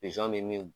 Pizɔn bɛ min